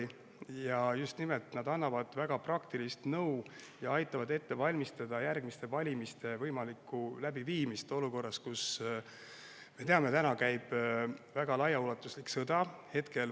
Nad annavad just nimelt väga praktilist nõu ja aitavad ette valmistada järgmiste valimiste võimalikku läbiviimist olukorras, kus, me teame, käib laiaulatuslik sõda.